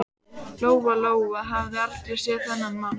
Lóa-Lóa hafði aldrei séð þennan mann.